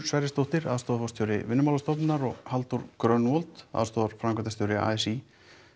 Sverrisdóttir aðstoðarforstjóri Vinnumálastofnunar og Halldór aðstoðarframkvæmdastjóri a s í